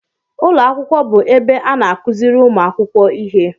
Ụlọ akwụkwọ bụ ebe a na-akụziri ụmụ akwụkwọ ihe